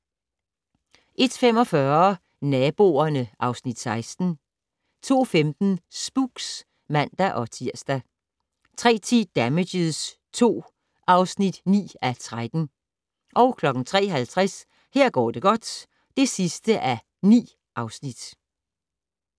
01:45: Naboerne (Afs. 16) 02:15: Spooks (man-tir) 03:10: Damages II (9:13) 03:50: Her går det godt (9:9)